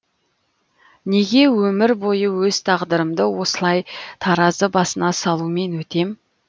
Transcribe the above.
неге өмір бойы өз тағдырымды осылай таразы басына салумен өтем